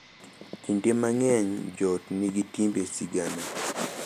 Kinde mang’eny joot nigi timbe, sigana,